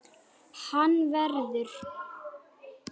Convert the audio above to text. Hann verður.